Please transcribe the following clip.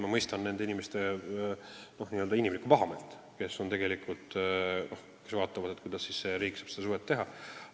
Ma mõistan nende inimeste inimlikku pahameelt, kes mõtlevad, kuidas riik saab sellist suhet luua.